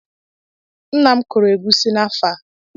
Nna m kụrụ egwusi n'afọ a.